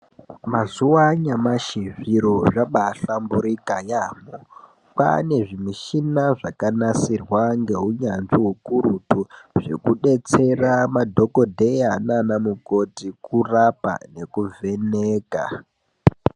Mazuva anyamashi zviro zvakaba hlamburuka yambo kwava nezvimishina zvakanasirwa ngeunyanzvi hukurutu zvekudeetsera madhokodheya nana mukoti kuraa nekuvheka.